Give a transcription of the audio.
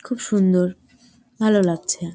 খুব সুন্দর ভালো লাগছে।